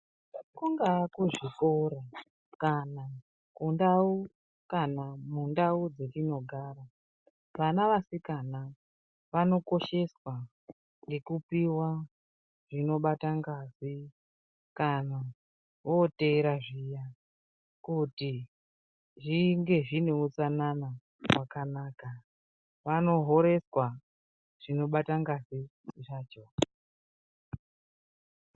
Kungaa kuzvikora kana kundau kana mundau dzetinogara vana vasikana vanokosheswa ngekupiwa zvinobata ngazi kana oteera zviya kuti zvinge zveineutsanana hwakanaka vanohoreswa zvinobata ngazi zvacho.